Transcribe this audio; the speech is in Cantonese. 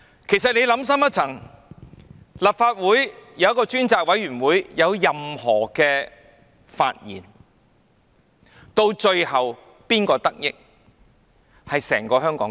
其實，你想深一層，立法會成立專責委員會，若有任何發現，到最後得益的是整個香港。